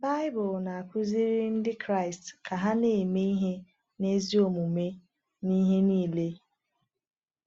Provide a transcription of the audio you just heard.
Baịbụl na-akuziri Ndị Kraịst ka ha na-eme ihe n’ezi omume n’ihe niile.